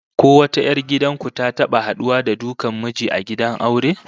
Ko wata 'yar gidan ku ta taba haduwa da dukan miji a gidan aure?